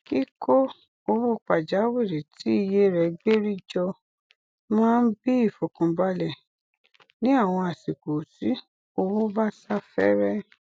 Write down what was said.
kíkó owo pàjáwìrì tí iye rẹ gbérí jọ máa n bí ìfọkànbalẹ ní àwọn àsìkò tí owó bá sá fẹẹrẹ